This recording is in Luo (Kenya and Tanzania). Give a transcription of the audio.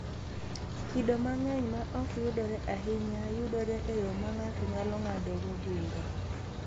Kido mang’eny ma ok yudore ahinya yudore e yo ma ng’ato nyalo ng’adogo bura.